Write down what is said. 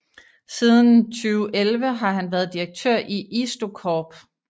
Siden 2011 har han været direktør i IstoCorp